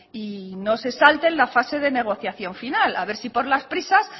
y no se salten la fase de negociación final a ver si por las prisas